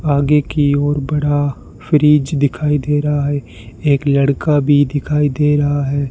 आगे की ओर बड़ा फ्रिज दिखाई दे रहा है एक लड़का भी दिखाई दे रहा है।